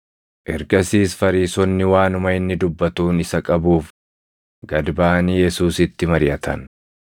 Ergasiis Fariisonni waanuma inni dubbatuun isa qabuuf gad baʼanii Yesuusitti mariʼatan.